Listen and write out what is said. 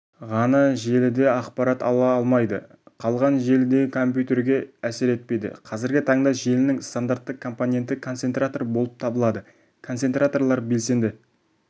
ғана желіде ақпарат ала алмайды қалған желідегі компьютерге әсер етпейді қазіргі таңда желінің стандартты компоненті концентратор болып табылады концентраторлар белсенді